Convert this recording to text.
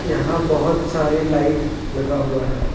यहां बहुत सारी लाइट लगा हुआ है।